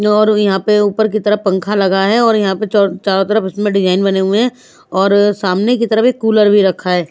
और यहाँ पे ऊपर की तरफ पंखा लगा है और यहाँ पे चारों तरफ इसमें डिज़ाइन बने हुए हैं और सामने की तरफ एक कूलर भी रखा है।